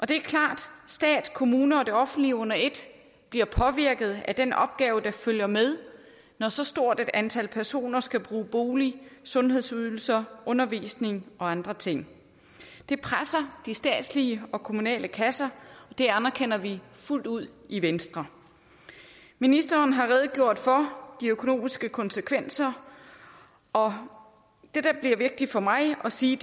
det er klart at stat kommuner og det offentlige under et bliver påvirket af den opgave der følger med når så stort et antal personer skal bruge boliger sundhedsydelser undervisning og andre ting det presser de statslige og kommunale kasser og det anerkender vi fuldt ud i venstre ministeren har redegjort for de økonomiske konsekvenser og det der bliver vigtigt for mig at sige